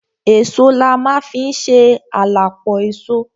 Èso la ma fi ń ṣe à la pọ èso.